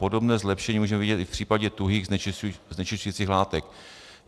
Podobné zlepšení můžeme vidět i v případě tuhých znečišťujících látek.